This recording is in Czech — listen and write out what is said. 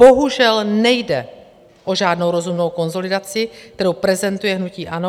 Bohužel nejde o žádnou rozumnou konsolidaci, kterou prezentuje hnutí ANO.